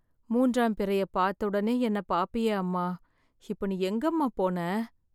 மூன்றாம் பிறைய பார்த்த உடனே என்ன பாப்பீயே அம்மா, இப்ப நீ எங்க அம்மா போன?